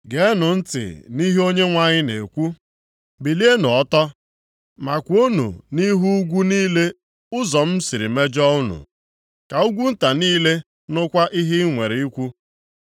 Geenụ ntị nʼihe Onyenwe anyị na-ekwu, “Bilienụ ọtọ, ma kwuonụ nʼihu ugwu niile ụzọ m siri mejọọ unu. Ka ugwu nta niile nụkwa ihe i nwere ikwu.